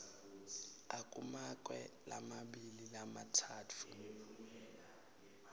akumakwe lamabili lamatsatfu